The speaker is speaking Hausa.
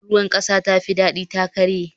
Tukunyar ruwan kasa ta fadi ta karye